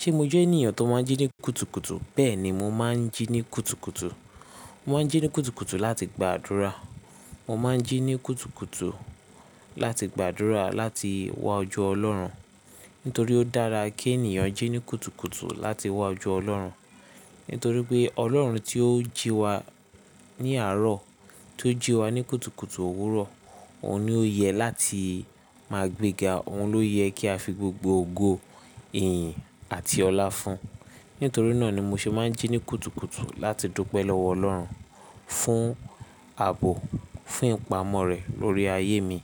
Ṣé mo jẹ́ ènìyàn tó máa ń jí ní kùtùkùtù? Bẹ́ẹ̀ni, mo máa ń jí ní kùtùkùtù. Mo máa ń jí ní kùtùkùtù láti gba àdúrà. Mo máa ń jí ní kùtùkùtù láti gba àdúrà láti wá ojú Ọlọ́run. Nítorí ó dára kí ènìyàn jí ní kùtùkùtù láti wá ojú Ọlọ́run. Nítorí pé ọlọ́run tí ó jí wa ní àrọ̀ tó jí wa ní kùtùkùtù òwúrọ̀ òun ni oye láti má gbé ga. Òun ló yẹ kí a fi gbogbo ògo, ìyìn àti ọlá fún. Nítorí náà ni mo ṣe máa ń jí ní kùtùkùtù láti dúpẹ́ lọ́wọ́ Ọlọ́run, fún àbò, fún ìpamọ́ rẹ̀ lórí ayé mi